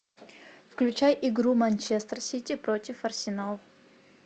включай игру манчестер сити против арсенал